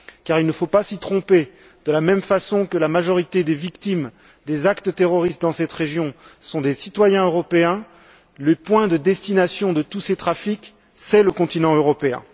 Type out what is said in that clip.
Car, il ne faut pas s'y tromper, de la même façon que la majorité des victimes des actes terroristes dans cette région sont des citoyens européens, le point de destination de tous ces trafics, c'est le continent européen.